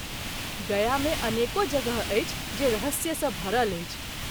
गया मे अनेको जगह अछि जे रहस्य सँ भरल अछि।